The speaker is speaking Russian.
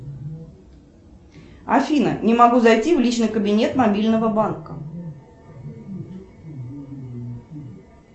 афина не могу зайти в личный кабинет мобильного банка